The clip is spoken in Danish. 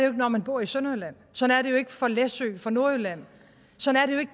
ikke når man bor i sønderjylland sådan er det jo ikke for læsø for nordjylland sådan